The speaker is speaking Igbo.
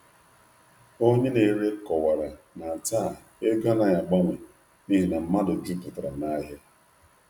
Onye na-ere kọwara na taa ego anaghị agbanwe n’ihi na mmadụ jupụtara n’ahịa.